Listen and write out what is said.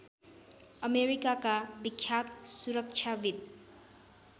अमेरिकाका विख्यात सुरक्षाविद्